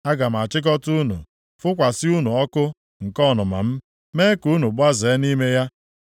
Aga m achịkọta unu, fụkwasị unu ọkụ nke ọnụma m, mee ka unu gbazee nʼime ya.